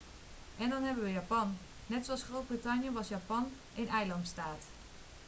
en dan hebben we japan net zoals groot-brittannië was japan een eilandstaat